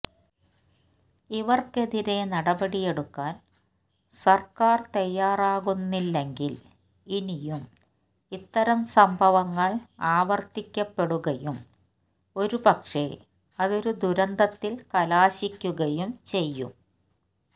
ഇവർക്കെതിരെ നടപടിയെടുക്കാൻ സർക്കാർ തയ്യാറാകുന്നില്ലെങ്കിൽ ഇനിയും ഇത്തരം സംഭവങ്ങൾ ആവർത്തിക്കപ്പെടുകയും ഒരുപക്ഷെ അതൊരു ദുരന്തത്തിൽ കലാശിക്കുകയും ചെയ്യും